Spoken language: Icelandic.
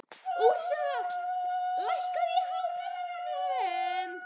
Úrsúla, lækkaðu í hátalaranum.